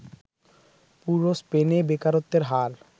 পুরো স্পেনে বেকারত্বের হার